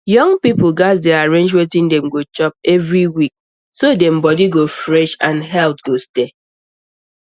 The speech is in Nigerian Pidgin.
young people gats dey arrange wetin dem go chop every week so dem body go fresh and health go stay